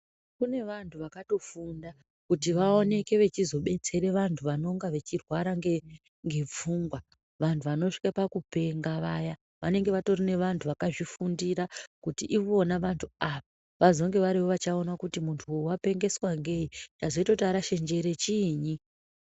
Kune vantu vakatofunda kuti vaoneke vechizobetsere vantu vanonga vechirwara nge, ngepfungwa. Vanhu vanosvike pakupenga vaya, vanenge vatori nevantu vakazvifundira kuti ivona vantu ava, vazonge varivo vachaona kuti muntu uyu wapengeswa ngei, chazoite kuti arashe njere chiinyi.